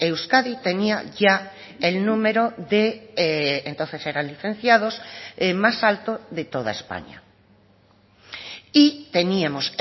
euskadi tenía ya el número de entonces eran licenciados más alto de toda españa y teníamos